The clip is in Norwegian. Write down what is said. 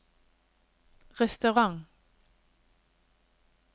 restaurant